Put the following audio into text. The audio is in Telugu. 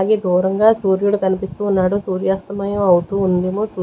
అది దూరంగా సూర్యుడు కనిపిస్తూ ఉన్నాడు సూర్యాస్తమయం అవుతూ ఉందేమో సూ--